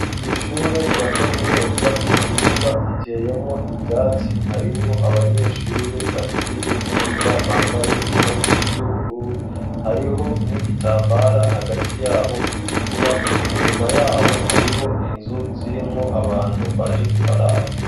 Kw'ishure rya kaminuza mu kibuga hateyemwo ivyatsi, harimwo abanyeshure bahejeje kwiga bambaye impuzu z'ubururu. Hariho n'igitambara hagati y'abo gitukura. Inyuma y'abo, hariho inzu zirimwo abantu baje kubaraba.